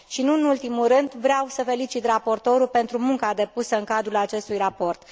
Nu în ultimul rând, vreau să îl felicit pe raportor pentru munca depusă în cadrul acestui raport.